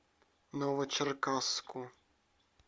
новочеркасску